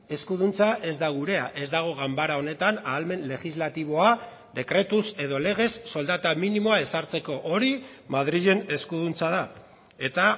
eskuduntza ez da gurea ez dago ganbara honetan ahalmen legislatiboa dekretuz edo legez soldata minimoa ezartzeko hori madrilen eskuduntza da eta